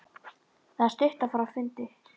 Það er stutt að fara á fundi.